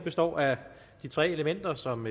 består af de tre elementer som